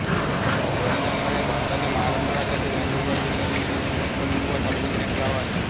जनीआंबा हे भारताच्या महाराष्ट्र राज्यातील नंदुरबार जिल्ह्यातील अक्कलकुवा तालुक्यातील एक गाव आहे